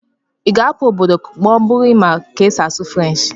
ị ga-ahapụ obodo ma ọ bụrụ na ị maara ka esi asụ French?